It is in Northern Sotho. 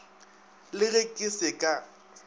le ge ke se ka